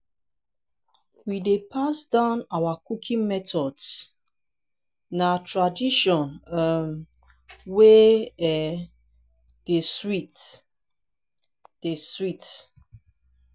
we dey pass down our cooking methods; na tradition um wey um dey sweet. dey sweet.